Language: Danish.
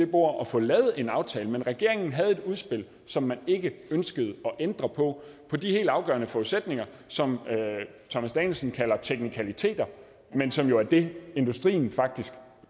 bordet og få lavet en aftale men regeringen havde et udspil som man ikke ønskede at ændre på på de helt afgørende forudsætninger som herre thomas danielsen kalder teknikaliteter men som jo er det industrien faktisk